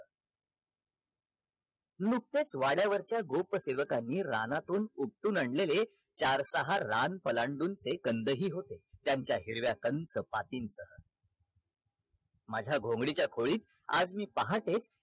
नुकतच वाड्यावरच्या गोप सेवकांनी रानातून उपटून आणलेले चार सहा रान पलांडून ते कंद हि होते त्यांच्या हिरव्याकंच पातींच माझ्या घोंगडीच्या खोलीत आज मी पहाटेच